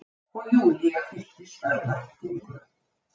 Og Júlía fylltist örvæntingu.